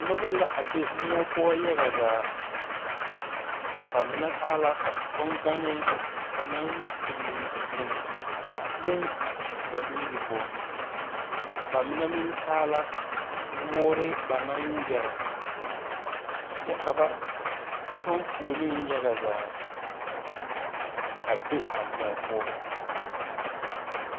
Noba la a be moɔ poɔ yaga zaa ba mine taa la boŋganne ba naŋ pili pili a leŋ eŋ ba nuuri poɔ ba mine meŋ taa la woore ba naŋ yɛre kyɛ ka ba kyɔŋ foolii yaga zaa a be a moɔ poɔ.